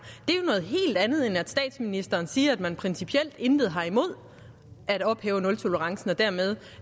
det andet end at statsministeren siger at man principielt intet har imod at ophæve nultolerancen og dermed